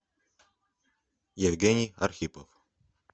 евгений архипов